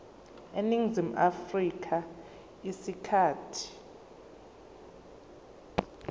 eningizimu afrika isikhathi